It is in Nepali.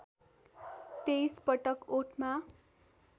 २३ पटक ओठमा